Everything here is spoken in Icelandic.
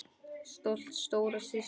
Stolt stóra systir.